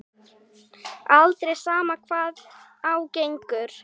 Aldrei, sama hvað á gengur.